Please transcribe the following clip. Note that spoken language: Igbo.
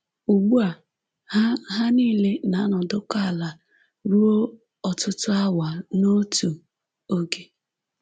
Ugbu a, ha ha niile na-anọdụkọ ala ruo ọtụtụ awa n’otu oge